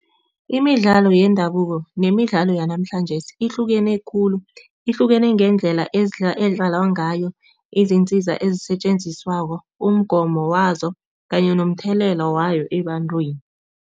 Imidlalo yendabuko nemidlalo yanamhlanjesi ihlukene khulu, ihlukene ngendlela edlalwa ngayo, izintsiza ezisetjenziswako, umgomo wazo kanye nomthelela wayo ebantwini.